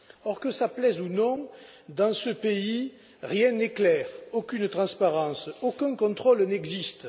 Or, que cela plaise ou non, dans ce pays, rien n'est clair aucune transparence, aucun contrôle n'existe.